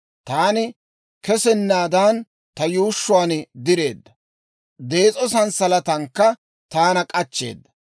Taani kesennaadan, ta yuushshuwaa direedda; dees'o sanssalatankka taana k'achcheeda.